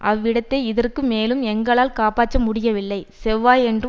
அவ்விடத்தை இதற்கு மேலும் எங்களால் காப்பாற்ற முடியவில்லை செவ்வாயன்று